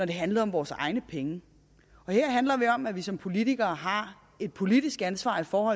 det handlede om vores egne penge her handler det om at vi som politikere har et politisk ansvar for